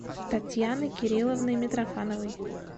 татьяны кирилловны митрофановой